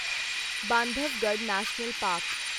Bandhavgarh national park